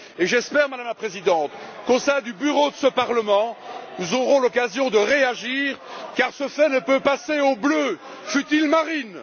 J'espère, Madame la Présidente, qu'au sein du Bureau de ce Parlement, nous aurons l'occasion de réagir car ce fait ne peut être passé au bleu, fût il marine.